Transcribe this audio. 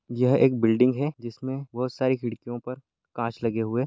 यह एक बिल्डिंग हैं जिसमें बहोत सारी खिड़कियों पर कांच लगे हुए--